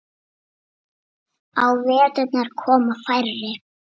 Á veturna koma færri.